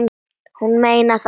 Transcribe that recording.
Hún meinar það.